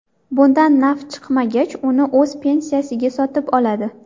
Bundan naf chiqmagach, uni o‘z pensiyasiga sotib oladi.